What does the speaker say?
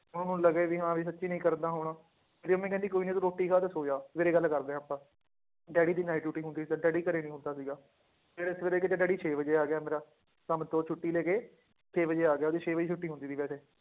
ਉਹਨਾਂ ਲੱਗਿਆ ਵੀ ਹਾਂ ਵੀ ਸੱਚੀ ਨੀ ਕਰਦਾ ਹੋਣਾ, ਮੇਰੀ ਮੰਮੀ ਕਹਿੰਦੀ ਕੋਈ ਨੀ ਤੂੰ ਰੋਟੀ ਖਾ ਤੇ ਸੌਂ ਜਾ ਸਵੇਰੇ ਗੱਲ ਕਰਦੇ ਹਾਂ ਆਪਾਂ, ਡੈਡੀ ਦੀ night duty ਹੁੰਦੀ ਸੀ ਤੇ ਡੈਡੀ ਘਰੇ ਨੀ ਹੁੰਦਾ ਸੀਗਾ, ਨੇਰੇ ਸਵੇਰੇ ਕਿਤੇ ਡੈਡੀ ਛੇ ਵਜੇ ਆ ਗਿਆ ਮੇਰਾ, ਕੰਮ ਤੋਂ ਛੁੱਟੀ ਲੈ ਕੇ ਛੇ ਵਜੇ ਆ ਗਿਆ, ਉਹਦੀ ਛੇ ਵਜੇ ਛੁੱਟੀ ਹੁੰਦੀ ਸੀ ਵੈਸੇ